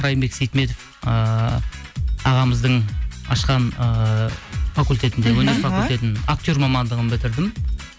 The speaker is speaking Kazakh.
райымбек сейтметов ыыы ағамыздың ашқан ыыы факультетінде іхі өнер факультетін актер мамандығын бітірдім